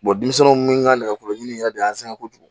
denmisɛnnu ka nɛgɛkɔrɔdi yɛrɛ de y'an sɛgɛn kojugu